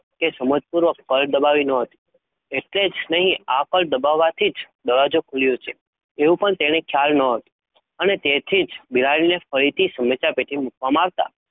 કે સમજપૂર્વક કળ દબાવી ન હતી. એટલે જ નહીં આ કળ દબાવવાથી જ દરવાજો ખુલ્યો છે એવું પણ તેને ખ્યાલ ન હતું અને તેથી જ બિલાડીને ફરીથી સમસ્યા પેટીમાં મુકવામાં આવતા